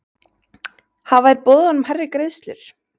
Hafa þeir boðið honum hærri greiðslur?